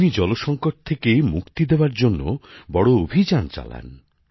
তিনি জলসঙ্কট থেকে মুক্তি দেওয়ার জন্যও বড় অভিযান চালান